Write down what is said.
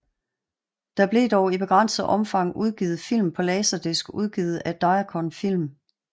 Der blev dog i begrænset omfang udgivet film på laserdisc udgivet af Diacon Film